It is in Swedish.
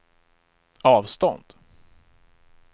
avstånd